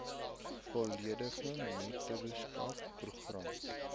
volledige mentorskap program